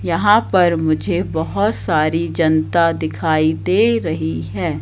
यहां पर मुझे बहोत सारी जनता दिखाई दे रही है।